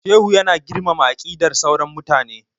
Shehu ya na girmama aqidar sauran mutane